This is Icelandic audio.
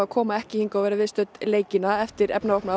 koma ekki og vera viðstödd leikina eftir